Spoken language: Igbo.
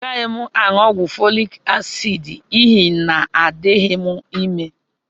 Agaghị m aṅụ ọgwụ folik asiidi n'ihi na adịghị m ime